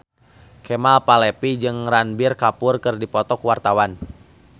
Kemal Palevi jeung Ranbir Kapoor keur dipoto ku wartawan